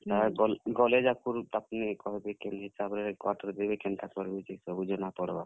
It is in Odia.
ହେ ଗଲ୍, ଗଲେ ଯାକର୍ ତାପ୍ ନେ କହେବେ କେନ୍ ହିସାବ୍ ରେ quarter ଦେବେ, କେନ୍ତା କର୍ ବେ ସବୁ ଜନା ପଡ୍ ବା।